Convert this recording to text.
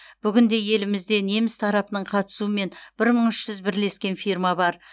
бүгінде елімізде неміс тарапының қатысуымен бір мың үш жүз бірлескен фирма бар